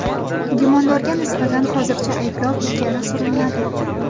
Gumondorga nisbatan hozircha ayblov ilgari surilmadi.